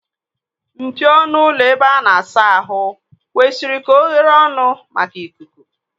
Mpio ọnụ ụlọ ebe a na-asa ahụ kwesịrị ka oghere ọnụ maka ikuku.